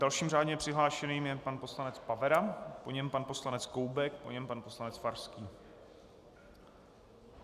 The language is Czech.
Dalším řádně přihlášeným je pan poslanec Pavera, po něm pan poslanec Koubek, po něm pan poslanec Farský.